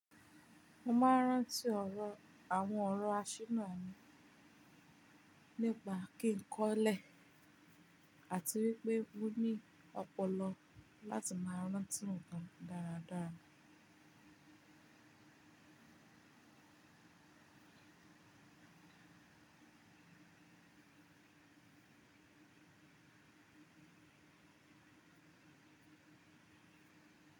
Mo máa ń rántí ọ̀rọ̀ àwọn ọ̀rọ̀ así náà nípa kí ń kọ́lẹ̀ àti wípé wu ní ọpọlọ láti máa rántí nnkan dáradára.